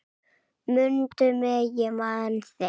Mundu mig, ég man þig